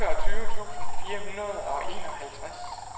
otteogtyve tusind fire hundrede og enoghalvtreds